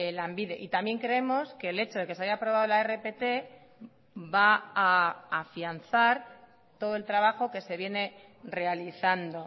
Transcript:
lanbide y también creemos que el hecho de que se haya aprobado la rpt va a afianzar todo el trabajo que se viene realizando